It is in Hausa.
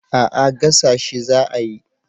A'a gasa shi za a yi